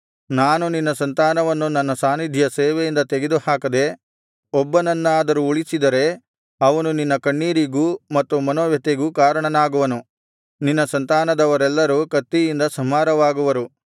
ನಾನು ನಿನ್ನ ಸಂತಾನವನ್ನು ನನ್ನ ಸಾನ್ನಿಧ್ಯ ಸೇವೆಯಿಂದ ತೆಗೆದುಹಾಕದೆ ಒಬ್ಬನನ್ನಾದರೂ ಉಳಿಸಿದರೆ ಅವನು ನಿನ್ನ ಕಣ್ಣೀರಿಗೂ ಮತ್ತು ಮನೋವ್ಯಥೆಗೂ ಕಾರಣನಾಗುವನು ನಿನ್ನ ಸಂತಾನದವರೆಲ್ಲರೂ ಕತ್ತಿಯಿಂದ ಸಂಹಾರವಾಗುವರು